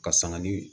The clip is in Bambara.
Ka sanga ni